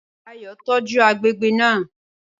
Ayọ̀ tọ́jú àgbègbè náà